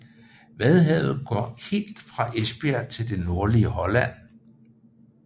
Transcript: Vadehavet går helt fra Esbjerg til det nordlige Holland